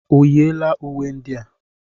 O yiela uwe ndị a?